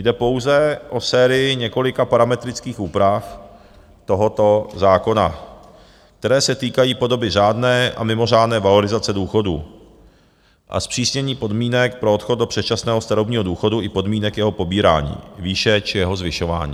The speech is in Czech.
Jde pouze o sérii několika parametrických úprav tohoto zákona, které se týkají podoby řádné a mimořádné valorizace důchodů a zpřísnění podmínek pro odchod do předčasného starobního důchodu i podmínek jeho pobírání, výše či jeho zvyšování.